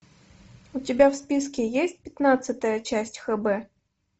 у тебя в списке есть пятнадцатая часть хб